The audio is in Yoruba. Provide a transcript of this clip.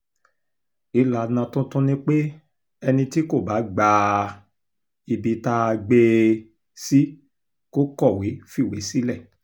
ìlànà tuntun ni pé ẹni tí kò bá gba um ibi tá a gbé um e sí kò kọ̀wé fiṣẹ́ sílẹ̀